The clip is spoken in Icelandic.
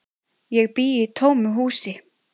Ég bý í tómu húsi.